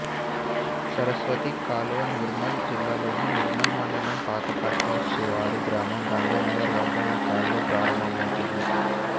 సరస్వతి కాలువ నిర్మల్ జిల్లాలోని నిర్మల్ మండలం పాకపట్ట శివారు గ్రామం గాంధీనగర్ వద్ద ఈ కాలువ ప్రారంభమవుతుంది